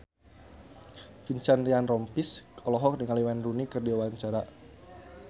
Vincent Ryan Rompies olohok ningali Wayne Rooney keur diwawancara